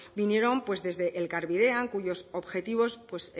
vinieron desde elkarbidean cuyos objetivos